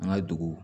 An ka dugu